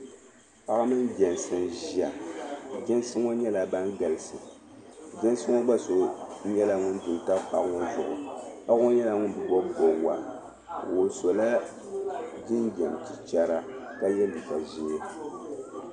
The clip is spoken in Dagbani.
Paɣa mini jɛnsi n-ʒia. Jɛnsi ŋɔ nyɛla ban galisi. jɛnsi ŋɔ gba so nyɛla ŋun du n-tam paɣa ŋɔ zuɣu. Paɣa ŋɔ nyɛla ŋum bi bɔbi bɔbiga. O sɔla jinjam chichara ka ye liiga ʒee.